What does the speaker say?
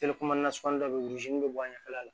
dɔ bɛ yen bɛ bɔ ɲɛfɛla la